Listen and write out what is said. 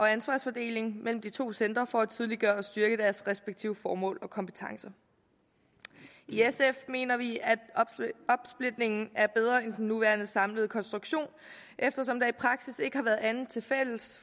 ansvarsfordeling mellem de to centre for at tydeliggøre og styrke deres respektive formål og kompetencer i sf mener vi at opsplitningen er bedre end den nuværende samlede konstruktion eftersom der i praksis ikke har været andet til fælles